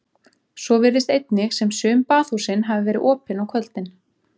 Svo virðist einnig sem sum baðhúsin hafi verið opin á kvöldin.